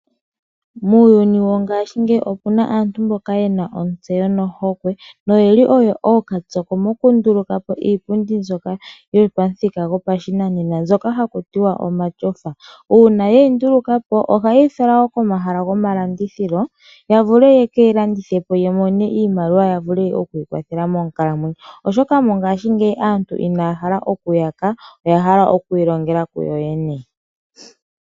Muuyuni wongashingeyi opuna aantu mbika yena ontseyo nohokwe noyeli oyo ookapyoko mokundulukapo iipundi mbyoka yopamuthika gopashinanena mbyoka haku tiwa omatyofa. Uuna yeyi ndulukapo , ohayeyi fala wo pomahala gomalandithilo yekeyi landithepo yavule yamone iimaliwa yavule okwiithela monkalamwenyo, oshoka aantu mongashingeyi inaya hala okuyaka oyahala okwiilongela kuyoyene.